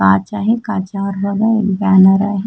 काच आहे काचावर बघा एक बॅनर आहे.